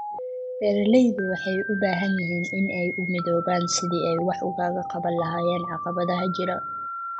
Beeraleydu waxay u baahan yihiin inay u midoobaan sidii ay wax uga qaban lahaayeen caqabadaha jira.